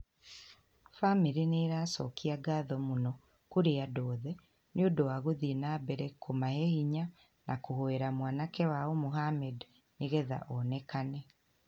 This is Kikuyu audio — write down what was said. Bamĩrĩ nĩ ĩracokia ngatho mũno kũrĩ andũ othe nĩ ũndũ wa gũthiĩ na mbere kũmahe hinya na kũhoera mwanake wao Mohammed nĩgetha onekane.